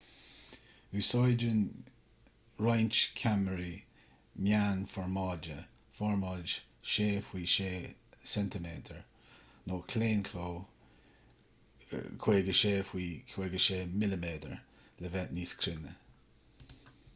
úsáideann roinnt ceamaraí meánfhormáide formáid 6 faoi 6 cm nó claonchló 56 faoi 56 mm le bheith níos cruinne